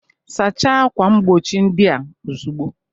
Sacha akwa mgbochi ndị a ozugbo!